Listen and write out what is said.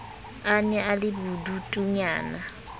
a ne a le bodutunyana